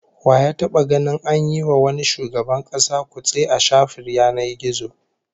Wa ya taba ganin an yi wa wani shugaban kasa kutse a shafin yanar gizo?